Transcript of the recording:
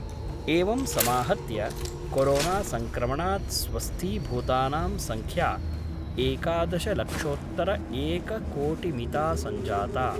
एवं समाहत्य कोरोनासंक्रमणात् स्वस्थीभूतानां संख्या एकादशलक्षोत्तरएककोटिमिता संजाता।